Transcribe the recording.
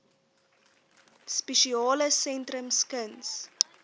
spesiale sentrums kuns